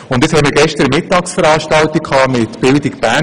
Nun hatten wir gestern eine Mittagsveranstaltung mit der Bildung Bern.